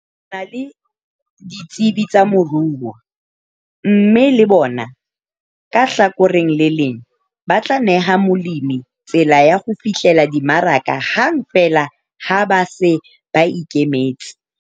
Na le ditsebi tsa moruo mme le bona ka hlakoreng le leng ba tla neha molemi tsela ya ho fihlella dimaraka hang feela ha ba se ba ikemetse.